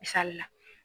Misali la